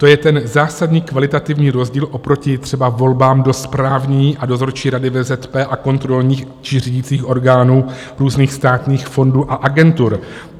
To je ten zásadní kvalitativní rozdíl oproti třeba volbám do Správní a Dozorčí rady VZP a kontrolních či řídících orgánů různých státních fondů a agentur.